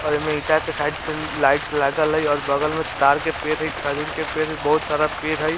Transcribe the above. और ई में ईंटा के साइड से लाइट लागल हयऔर बगल में ताड़ के पेड़ हय खजूर के पेड़ हय बहुत सारा पेड़ हय।